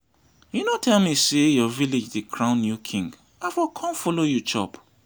you no tell me say your village dey crown new king i for come follow you chop